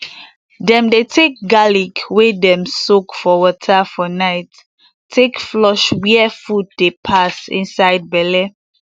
dem dey take garlic wey dem soak for water for night take flush where food dey pass inside belle